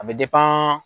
A bɛ